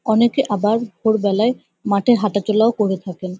অনেকে আবার দুপুরবেলায় মাঠে হাঁটাচলাও করে থাকেন।